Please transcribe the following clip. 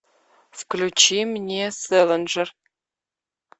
включи мне сэлинджер